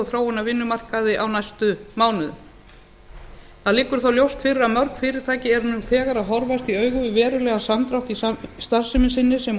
þróun á vinnumarkaði á næstu mánuðum það liggur þó ljóst fyrir að mörg fyrirtæki eru nú þegar að horfast í augu við verulegan samdrátt í starfsemi sinni sem